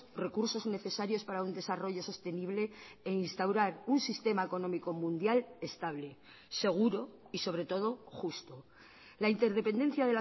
recursos necesarios para un desarrollo sostenible e instaurar un sistema económico mundial estable seguro y sobre todo justo la interdependencia